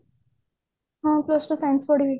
ହଁ plus two science ପଢିବି